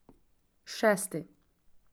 Šesti.